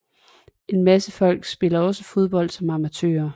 En masse folk spiller også fodbold som amatører